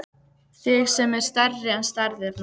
Þig sem er stærri en stærðirnar.